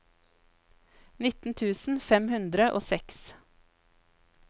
nitten tusen fem hundre og seks